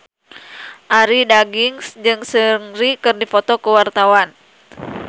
Arie Daginks jeung Seungri keur dipoto ku wartawan